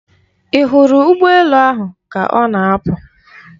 Ị hụrụ ụgbọ elu ahụ ka ọ na-apụ?